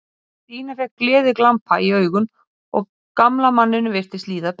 Það er mun hraðvirkara að lesa skrá sem er samfelld á disknum.